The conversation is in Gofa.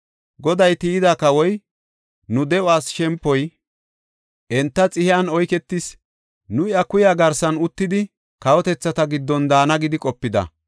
Goday tiyida kawoy, nu de7uwas shempoy, enta xihiyan oyketis. Nu iya kuya garsan uttidi, kawotethata giddon daana gidi qopida.